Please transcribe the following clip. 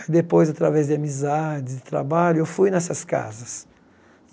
Depois, através de amizades, de trabalho, eu fui nessas casas.